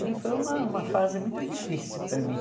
E foi uma uma fase muito difícil para mim.